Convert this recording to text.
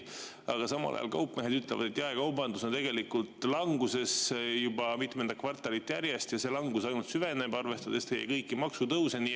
Aga samal ajal kaupmehed ütlevad, et jaekaubandus on languses juba mitmendat kvartalit järjest ja see langus ainult süveneb, arvestades kõiki maksutõuse.